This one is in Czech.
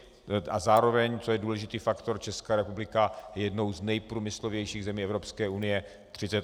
A zároveň, co je důležitý faktor, Česká republika je jednou z nejprůmyslovějších zemí Evropské unie.